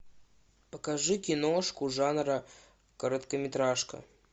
покажи киношку жанра короткометражка